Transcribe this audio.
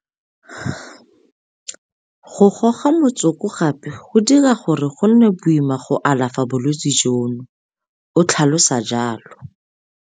Go goga motsoko gape go dira gore go nne boima go alafa bolwetse jono, o tlhalosa jalo.